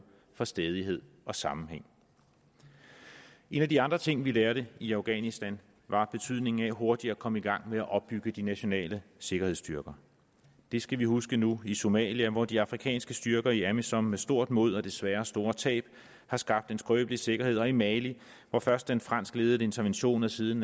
for stædighed og sammenhæng en af de andre ting vi lærte i afghanistan var betydningen af hurtigt at komme i gang med at opbygge de nationale sikkerhedsstyrker det skal vi huske nu i somalia hvor de afrikanske styrker i amisom med stort mod og desværre store tab har skabt en skrøbelig sikkerhed og i mali hvor først den franskledede intervention og siden